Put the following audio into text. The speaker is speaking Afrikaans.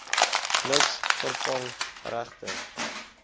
niks vervang regte